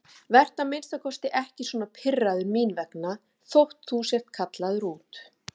Vertu að minnsta kosti ekki svona pirraður mín vegna þótt þú sért kallaður út.